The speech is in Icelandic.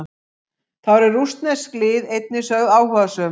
Þá eru rússnesk lið einnig sögð áhugasöm.